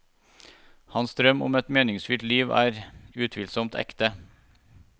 Hans drøm om et meningsfylt liv er utvilsomt ekte.